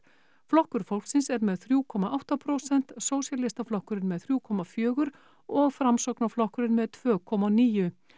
Flokkur fólksins er með þrjú komma átta prósent sósíalistaflokkurinn er með þrjú komma fjögur og Framsóknarflokkurinn með tveimur komma níu